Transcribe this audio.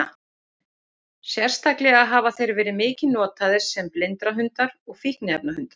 Sérstaklega hafa þeir verið mikið notaðir sem blindrahundar og fíkniefnahundar.